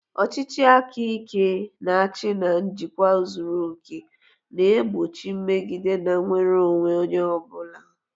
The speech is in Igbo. Ọchịchị aka ike na-achị na njikwa zuru oke, na-egbochi mmegide na nnwere onwe onye ọ bụla.